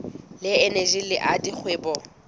le eneji le la dikgwebo